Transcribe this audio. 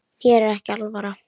Þér er ekki alvara